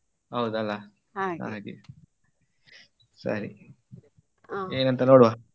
ಹೌದ್ ಅಲ್ಲ ಹಾಗೆ ಸರಿ ಏನ್ ಅಂತ ನೋಡ್ವಾ.